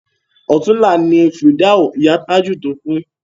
Ọ̀túnla ni fìdáù ìyá Tájù to kú